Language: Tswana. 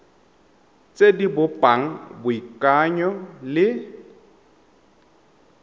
tse di bopang boikanyo le